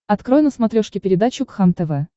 открой на смотрешке передачу кхлм тв